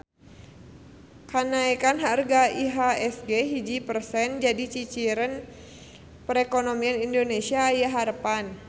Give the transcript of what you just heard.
Kanaekan harga IHSG hiji persen jadi ciciren perekonomian Indonesia aya harepan